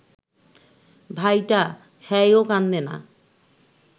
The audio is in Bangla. ভাইটা, হ্যায়ও কান্দে না